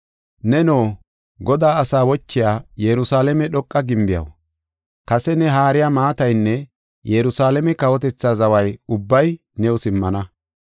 Neno, Godaa asaa wochiya Yerusalaame dhoqa gimbiyaw, kase ne haariya maataynne Yerusalaame kawotethaa zaway ubbay new simmana.